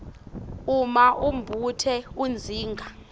uma umbuto udzinga